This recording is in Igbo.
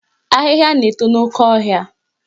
Ahịhịa na-eto n'oke ọhịa